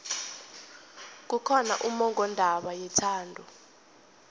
kukhona ummongondaba yethando